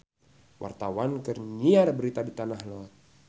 Wartawan keur nyiar berita di Tanah Lot